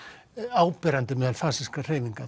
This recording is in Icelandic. áberandi meðal fasískra hreyfinga